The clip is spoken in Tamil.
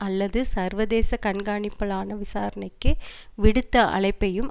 அல்லது சர்வதேச கண்காணிப்பிலான விசாரணைக்கு விடுத்த அழைப்பையும்